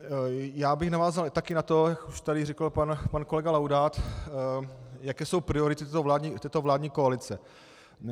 Já bych navázal také na to, už to tady řekl pan kolega Laudát, jaké jsou priority této vládní koalice.